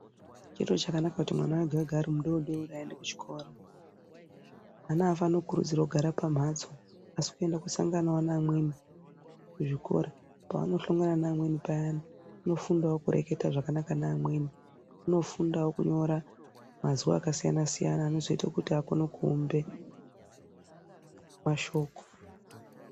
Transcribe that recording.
Chiro chakanaka kuti mwana wega wega arimudodori aende kuchikora mwana afaniri kukurudzirwe kugare pamhatso asi kuenda kosangana neamweni kuzvikora paanohlongana neamweni payani unofundawo kureketa zvakanaka neamweni unofundawo kunyora mazwi akasiyanasiyana anozoite kuti akone kuumbe mashoko.